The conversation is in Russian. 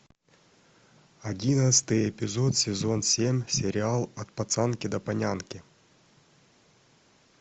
одиннадцатый эпизод сезон семь сериал от пацанки до панянки